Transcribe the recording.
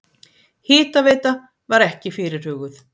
Hitaveita var ekki fyrirhuguð.